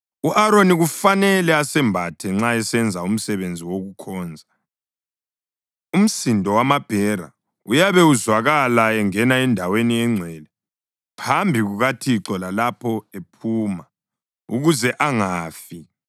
U-Aroni kufanele asembathe nxa esenza umsebenzi wokukhonza. Umsindo wamabhera uyabe uzwakala lapho engena eNdaweni eNgcwele phambi kukaThixo lalapho ephuma, ukuze angafi.